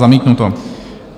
Zamítnuto.